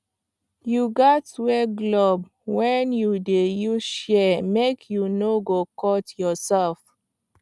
you gats wear glove when you dey use shears make you no go cut yourself